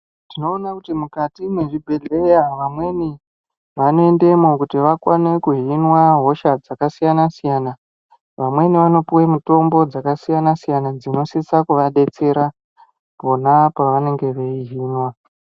Tinoona kuti mukati mwezvibhendleya vamweni vanoenda mwo kuti vakone kuhinwa hosha dzakasiyana siyana. Vamweni vanopuwa mitombo dzakasiyana siyana dzinosisa kuva detsera pona pavanenge veihinwa.